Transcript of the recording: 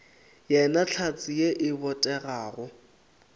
yena hlatse ye e botegago